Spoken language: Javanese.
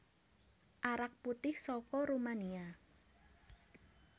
Arak putih soko Rumania